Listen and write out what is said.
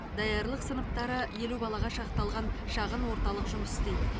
даярлық сыныптары елу балаға шақталған шағын орталық жұмыс істейді